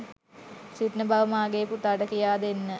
සිටින බව මාගේ පුතාට කියා දෙන්න.